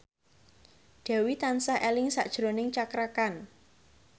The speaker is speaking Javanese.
Dewi tansah eling sakjroning Cakra Khan